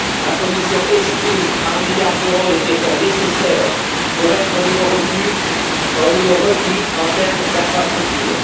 La Commission estime à un milliard d'euros les efforts nécessaires pour être au niveau requis en termes d'infrastructures.